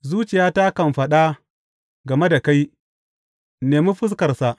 Zuciyata kan faɗa game da kai, Nemi fuskarsa!